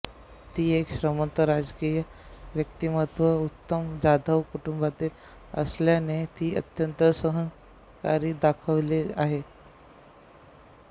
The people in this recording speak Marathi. ती एक श्रीमंत राजकीय व्यक्तिमत्त्व उत्तम जाधव कुटुंबातील असल्याने ती अत्यंत अहंकारी दाखवली आहे